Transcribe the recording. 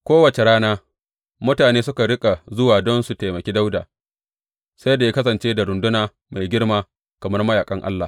Kowace rana mutane suka riƙa zuwa don su taimaki Dawuda, sai da ya kasance da runduna mai girma, kamar mayaƙan Allah.